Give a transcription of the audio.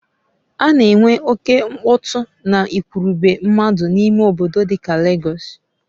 A na enwe oke mkpọtụ na igwurube mmadụ n'ime obodo dika Legọs